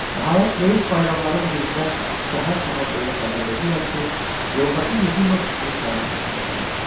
Nəhayət, böyük bayramların birində səhər-səhər bəyə xəbər verirlər ki, yoldaşı Yefimov onun təbrik etməyə gəlib.